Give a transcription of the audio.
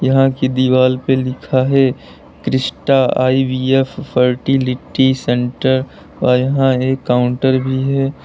यहां की दीवाल पे लिखा है क्रिस्टा आई_वी_एफ फर्टिलिटी सेंटर और यहां एक काउंटर भी है।